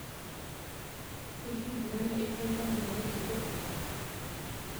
Hihi mbura nĩĩteithagia nyeki gũkũra.